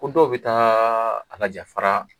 Ko dɔw bɛ taa a laja fara